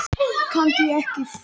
Ég tók í hurðina til að athuga það.